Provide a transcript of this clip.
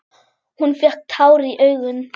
Hún fékk tár í augun.